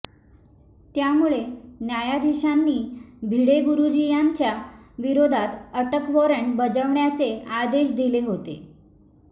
त्यामुळे न्यायाधीशांनी भिडे गुरुजी यांच्या विरोधात अटक वॉरंट बजावण्याचे आदेश दिले होते